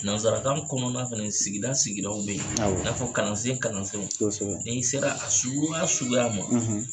Nanzarakan kɔnɔna fɛnɛ sigida sigidaw bɛ ye awɔ i n'a fɔ kalansen kalansenw n'i sera a suguya suguya ma.